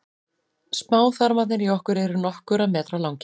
smáþarmarnir í okkur eru nokkurra metra langir